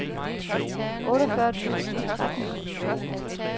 otteogfyrre tusind og tretten